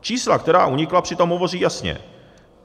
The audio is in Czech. Čísla, která unikla, přitom hovoří jasně.